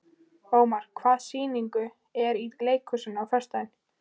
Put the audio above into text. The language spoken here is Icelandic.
Ómar, hvaða sýningar eru í leikhúsinu á föstudaginn?